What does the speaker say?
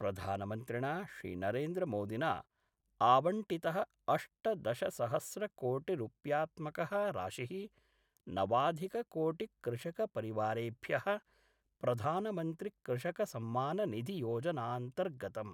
प्रधानमन्त्रिणा श्रीनरेन्द्रमोदिना आवंटितः अष्टदशसहस्रकोटिरुप्यात्मक: राशि:, नवाधिककोटिकृषकपरिवारेभ्यः प्रधानमन्त्रिकृषकसम्माननिधियोजनान्तर्गतम्